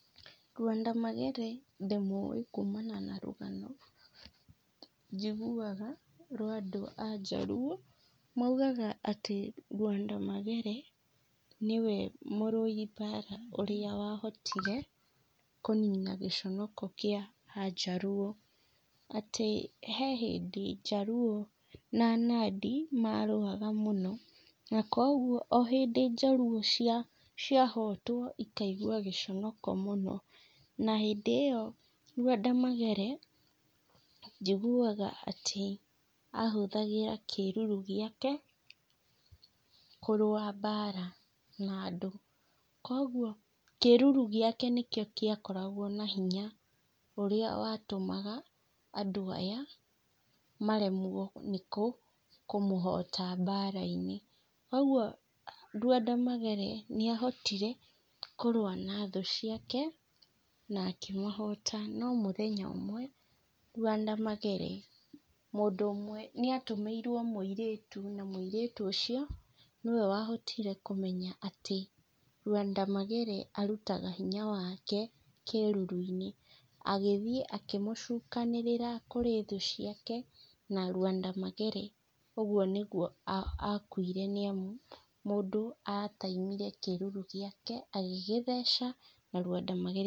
Lwanda magere ndĩmũwĩ kumana na rũgano, njiguaga rwa andũ a njaruũ, maugaga atĩ Lwanda magere, nĩwe mũrũi mbara ũrĩa wahotire kũnina gĩconoko kĩa anjaruũ, atĩ he hĩndĩ njaruũ, na nandĩ marũaga mũno, na koguo o hĩndĩ njaruũ cia, ciahotwo ikaigua gĩconoko mũno, na hĩndĩ ĩyo, Lwanda Magere, njiguaga atĩ, ahũthagĩra kĩruru gĩake kũrũa mbara, na andũ, koguo, kĩruru gĩake nĩkĩo kĩakoragwo na hinya, ũrĩa watũmaga andũ aya maremwo nĩkũ, kũmũhota mbara-inĩ, ũguo Lwanda Magere nĩahotire kũrũa na thũ ciake, na akĩmahota, no mũthenya ũmwe Lwanda Magere, mũndũ ũmwe nĩatũmĩirwo mũirĩtu, na mũirĩtu ũcio, nĩwe wahotire kũmenya atĩ, Lwanda Magere arutaga hinya wake kĩruru-inĩ, agĩthiĩ akĩmũcukanĩrĩra kũrĩ thũ ciake, na Lwanda Magere ũguo nĩguo akuire, nĩamu mũndũ ataimire kĩruru gĩake agĩgĩtheca, na Lwanda Magere...